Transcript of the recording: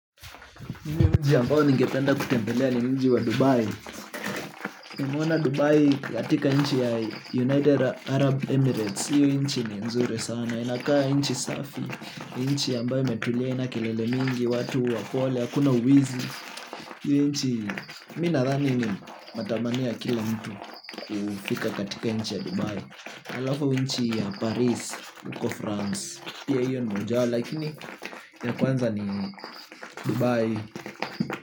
Mji ambao ningependa kutembelea ni mji wa Dubai. Naona Dubai katika nchi ya United Arab Emirates hii nchi ni nzuri sana, inakaa nchi safi nchi ambayo imetulia haina kilele mingi, watu wapole, hakuna wizi hii nchi, mimi nadhani ni matamania ya kila mtu. Kufika katika nchi ya Dubai halafu mji ya Paris uko France. Pia hiyo ni moja yao, lakini ya kwanza ni Dubai.